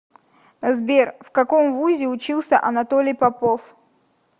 сбер в каком вузе учился анатолий попов